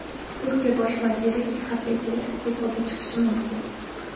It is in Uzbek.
Turkiya bosh vaziri ikki hafta ichida iste’foga chiqishi mumkin.